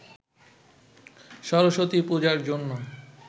সরস্বতী পূজার জন্য